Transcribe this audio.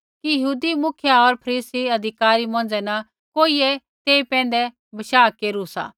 कि यहूदी मुखिया होर फरीसी अधिकारी मौंझ़ै न कोई ऐ तेई पैंधै बशाह केरू सा